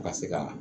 Ka se ka